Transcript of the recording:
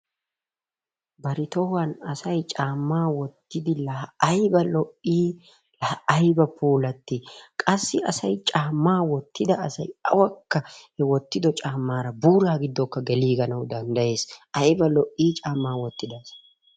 Bari tohuwan asay caamma wottidi la ayba lo'i la ayba pulatti qassi asay cammaa wotidda asay awakkaa he wottiddo cammara buura gidokka geliganawu danddayees, ayba lo'i cammaa wottidda asay.